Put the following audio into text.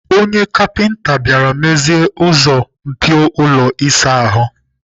Onye kapinta bịara mezie ụzọ mpio ụlọ ịsa ahụ m.